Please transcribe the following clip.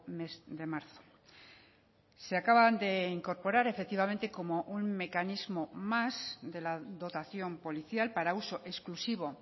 mes de marzo se acaban de incorporar efectivamente como un mecanismo más de la dotación policial para uso exclusivo